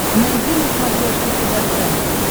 найди на смотрешке тв центр